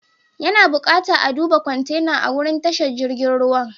Ya na bukata a'duba kwantenan a'wurin tashar jirigin ruwan.